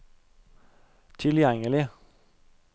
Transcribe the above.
tilgjengelig